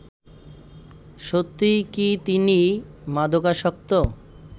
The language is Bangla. সত্যিই কি তিনি মাদকাসক্ত